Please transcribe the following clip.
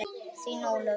Þín, Ólöf.